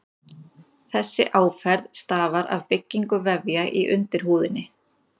Þessi áferð stafar af byggingu vefja í undirhúðinni.